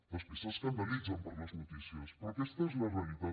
després s’escandalitzen per les notícies però aquesta és la realitat